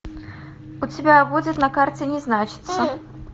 у тебя будет на карте не значится